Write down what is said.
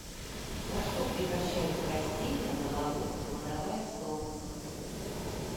во что превращаются растения на болоте кладовая солнца